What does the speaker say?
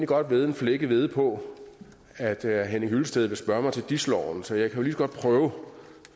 godt vædde en flækket hvede på at herre henning hyllested vil spørge ind til dis loven så jeg kan lige så godt prøve